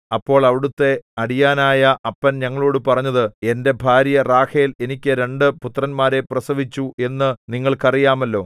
അപ്പോൾ അവിടത്തെ അടിയാനായ അപ്പൻ ഞങ്ങളോടു പറഞ്ഞത് എന്റെ ഭാര്യ റാഹേൽ എനിക്ക് രണ്ടു പുത്രന്മാരെ പ്രസവിച്ചു എന്നു നിങ്ങൾക്ക് അറിയാമല്ലോ